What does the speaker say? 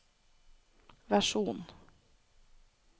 versjon